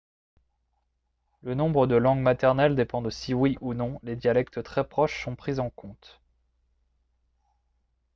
le nombre de langues maternelles dépend de si oui ou non les dialectes très proches sont pris en compte